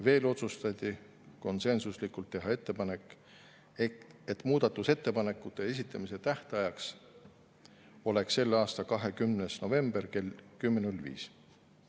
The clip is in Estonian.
Veel otsustati konsensuslikult teha ettepanek, et muudatusettepanekute esitamise tähtajaks oleks selle aasta 20. november kell 10.05.